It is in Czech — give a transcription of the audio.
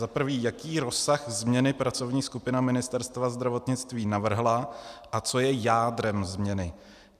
Za prvé, jaký rozsah změny pracovní skupina Ministerstva zdravotnictví navrhla a co je jádrem změny.